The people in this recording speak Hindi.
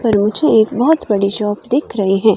पर मुझे एक बोहोत बड़ी शॉप दिख रही है।